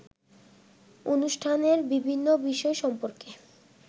অনুষ্ঠানের বিভিন্ন বিষয় সম্পর্কে